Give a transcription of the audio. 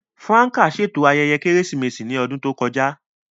Franca ṣeto ayẹyẹ Keresimesi ni ọdun to kọja.